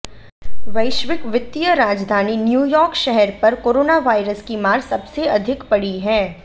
वैश्विक वित्तीय राजधानी न्यूयॉर्क शहर पर कोरोना वायरस की मार सबसे अधिक पड़ी है